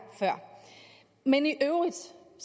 før men i øvrigt